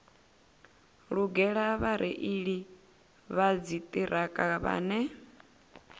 lugela vhareili vha dziṱhirakha vhane